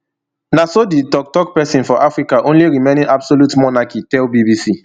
na so di tok tok pesin for africa only remaining absolute monarchy tell bbc